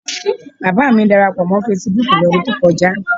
Bàbá à mi darapọ̀ mọ́ fesibúùkù lọ́dún tó kọjá.